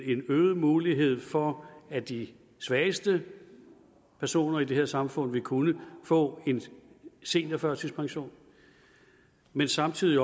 øget mulighed for at de svageste personer i det her samfund vil kunne få en seniorførtidspension men samtidig